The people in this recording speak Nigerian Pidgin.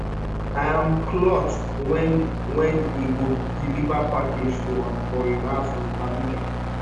im cloth wen wen e go deliver package to am for im house in abuja